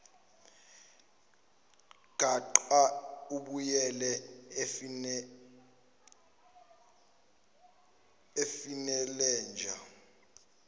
gaqa ubuyele efenilenja